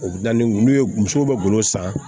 O bi da ni n'u ye musow bɛ golo san